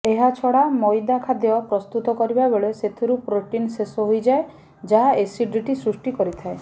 ଏହାଛଡା ମଇଦା ଖାଦ୍ୟ ପ୍ରସ୍ତୁତ କରିବା ବେଳେ ସେଥିରୁ ପ୍ରୋଟିନ ଶେଷ ହୋଇଯାଏ ଯାହା ଏସିଡିଟ୍ ସୃଷ୍ଟି କରିଥାଏ